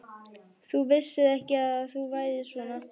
Þú vissir ekki að þú værir svona.